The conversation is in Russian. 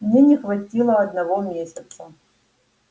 мне не хватило одного месяца